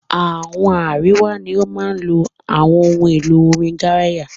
Àwọn àríwá ní o máa ń lo ohun èlo orin garaya